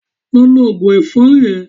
Lọ lo òògùn ẹ̀fọ́rì ẹ.